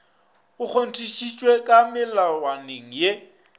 go kgontšhitšwe ka melawaneng ye